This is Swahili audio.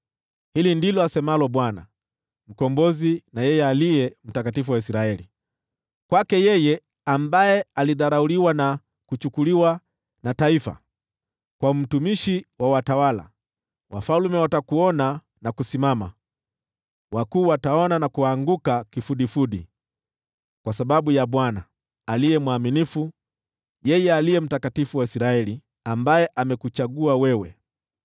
Hili ndilo asemalo Bwana , yeye Mkombozi na Aliye Mtakatifu wa Israeli, kwake yeye aliyedharauliwa na kuchukiwa na taifa, kwa mtumishi wa watawala: “Wafalme watakuona na kusimama, wakuu wataona na kuanguka kifudifudi, kwa sababu ya Bwana , aliye mwaminifu, yeye Aliye Mtakatifu wa Israeli, aliyekuchagua wewe.”